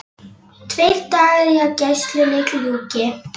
Tveir dagar í að gæslunni ljúki.